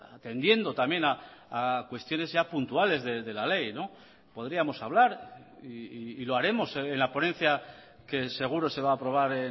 atendiendo también a cuestiones ya puntuales de la ley podríamos hablar y lo haremos en la ponencia que seguro se va a aprobar